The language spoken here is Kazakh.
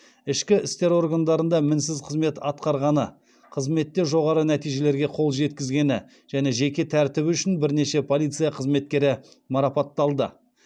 ішкі істер органдарында мінсіз қызмет атқарғаны қызметте жоғары нәтижелерге қол жеткізгені және жеке тәртібі үшін бірнеше полиция қызметкері марапатталды